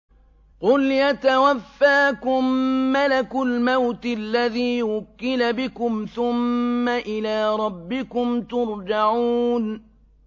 ۞ قُلْ يَتَوَفَّاكُم مَّلَكُ الْمَوْتِ الَّذِي وُكِّلَ بِكُمْ ثُمَّ إِلَىٰ رَبِّكُمْ تُرْجَعُونَ